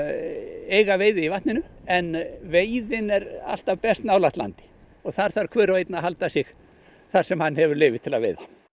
eiga veiði í vatninu en veiðin er alltaf best nálægt landi og þar þarf hver og einn að halda sig þar sem hann hefur leyfi til að veiða